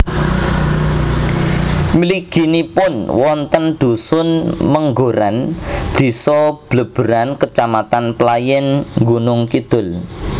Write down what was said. Mliginipun wonten dhusun Menggoran désa Bleberan kecamatan Playèn Gunungkidul